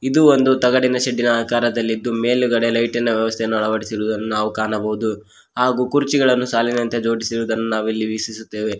ಇದು ಒಂದು ತಗಡಿನ ಶೇಡ್ಡಿನ ಆಕಾರದಲ್ಲಿದ್ದು ಮೇಲುಗಡೆ ಲೈಟಿನ ವ್ಯವಸ್ಥೆಯನ್ನು ಅಳವಡಿಸಿರುವುದನ್ನು ನಾವು ಕಾಣಬಹುದು ಹಾಗೂ ಕುರ್ಚಿಗಳನ್ನು ಸಾಲಿನಂತೆ ಜೋಡಿಸಿರುವುದನ್ನು ನಾವು ವೀಕ್ಷಿಸುತ್ತೆವೆ.